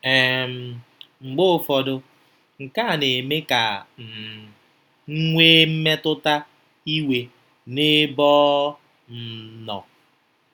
um Mgbe ụfọdụ, nke a na-eme ka um m nwee mmetụta iwe n'ebe ọ um nọ.